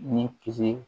Ni kis